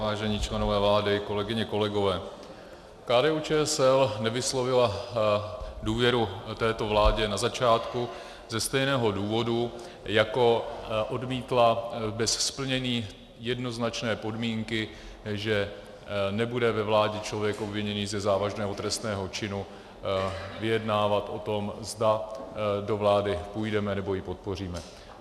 Vážení členové vlády, kolegyně, kolegové, KDU-ČSL nevyslovila důvěru této vládě na začátku ze stejného důvodu, jako odmítla bez splnění jednoznačné podmínky, že nebude ve vládě člověk obviněný ze závažného trestného činu vyjednávat o tom, zda do vlády půjdeme nebo ji podpoříme.